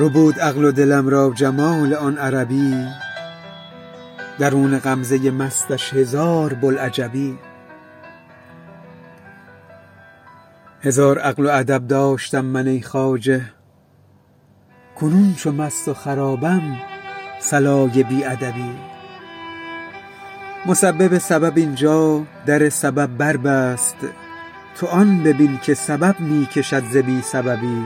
ربود عقل و دلم را جمال آن عربی درون غمزه مستش هزار بوالعجبی هزار عقل و ادب داشتم من ای خواجه کنون چو مست و خرابم صلای بی ادبی مسبب سبب این جا در سبب بربست تو آن ببین که سبب می کشد ز بی سببی